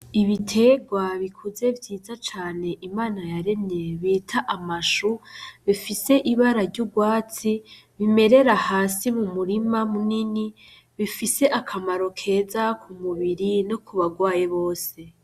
Ibitegwa bikuze vyiza cane imana yaremye bita amashu bifise ibara ry'urwatsi bimerera hasi mu murima munini bifise akamaro keza ku mubiri no kubarwaye bose.